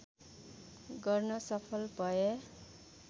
गर्न सफल भए